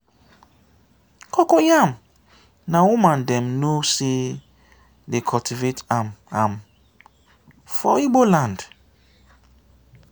cocoyam na woman dem know say de cultivate am am for igbo land.